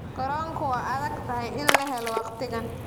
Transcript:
Garoonka waa adag tahay in la helo waqtigan.